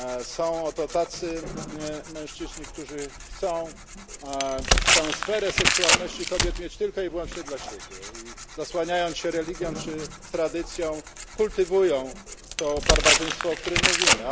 Są to tacy mężczyźni, którzy chcą tę sferę seksualności kobiet mieć tylko i wyłącznie dla siebie i zasłaniając się religią czy tradycją, kultywują to barbarzyństwo, o którym mówimy.